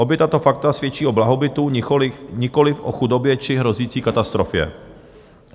Obě tato fakta svědčí o blahobytu, nikoliv o chudobě či hrozící katastrofě.